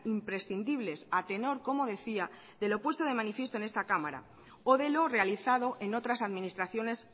imprescindibles a tenor como decía de lo puesto de manifiesto en esta cámara o de lo realizado en otras administraciones